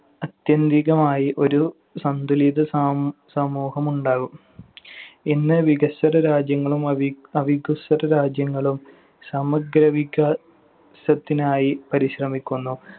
അത്യന്തികമായി ഒരു സന്തുലിത സ~ സമൂഹം ഉണ്ടാകും. ഇന്ന് വികസ്വര രാജ്യങ്ങളും അവി അവികസ്വര രാജ്യങ്ങളും സമഗ്രവിക സത്തിനായി പരിശ്രമിക്കുന്നു.